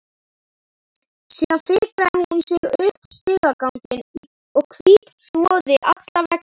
Síðan fikraði hún sig upp stigaganginn og hvítþvoði alla veggi.